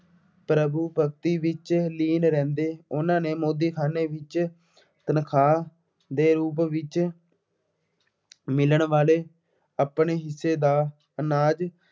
ਪ੍ਰਭੂ ਭਗਤੀ ਵਿੱਚ ਲੀਨ ਰਹਿੰਦੇ। ਉਹਨਾ ਨੇ ਮੋਦੀਖਾਨੇ ਵਿੱਚ ਤਨਖਾਹ ਦੇ ਰੂਪ ਵਿੱਚ ਮਿਲਣ ਵਾਲੇ ਆਪਣੇ ਹਿੱੱਸੇ ਦਾ ਅਨਾਜ